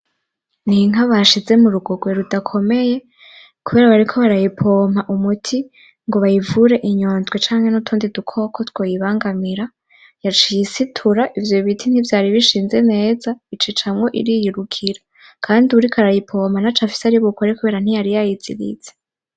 N'inka bashize mu rugogwe rudakomeye kubera bariko barayipoma umuti ngo bayivure inyondwe canke n'utundi dukoko twoyibangamira, yaciye isitura ivyo biti ntivyara bishinze neza icicamwo iriyirukira, kandi uwuriko arayipoma ntaco afise aribukore kubera ntiyari yayiziritse.